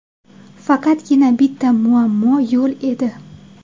Faqatgina bitta muammo yo‘l edi.